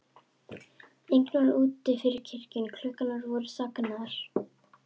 Enginn var úti fyrir kirkjunni, klukkurnar voru þagnaðar.